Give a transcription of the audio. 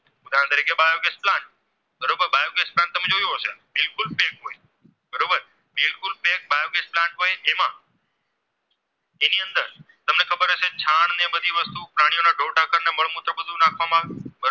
ઘરમાં